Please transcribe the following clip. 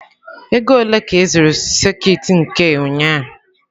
Ego ole ka ị zụrụ sekit nke ụnyaahụ?